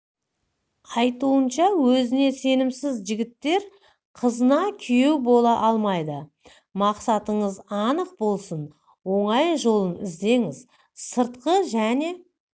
айтуынша өзіне сенімсіз жігіттер қызына күйеу бола алмайды мақсатыңыз анық болсын оңай жолын іздеңіз сыртқы және